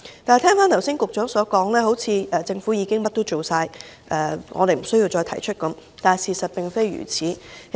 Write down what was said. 但我聽局長剛才的說法，好像是說政府已做了所有事，我們不需要再提出意見，然而，事實並非如此。